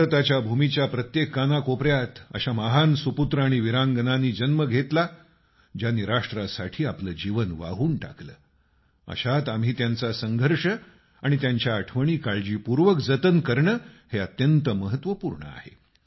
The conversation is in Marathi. भारताच्या भूमीच्या प्रत्येक कानाकोपऱ्यात अशा महान सुपुत्र आणि वीरांगनांनी जन्म घेतला ज्यांनी राष्ट्रासाठी आपलं जीवन वाहून टाकलं अशात आम्ही त्यांचा संघर्ष आणि त्यांच्या आठवणी काळजीपूर्वक जतन करणे हे अत्यंत महत्वपूर्ण आहे